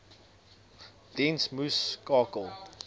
diens moes skakel